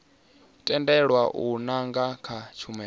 tendelwa u nanga kha tshumelo